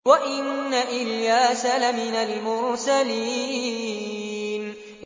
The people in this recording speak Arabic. وَإِنَّ إِلْيَاسَ لَمِنَ الْمُرْسَلِينَ